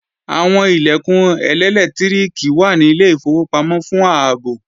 Àwọn Ilẹ̀kùn ẹlẹ́lẹtiriki wà ní ilé ìfowópamọ́ fún ààbò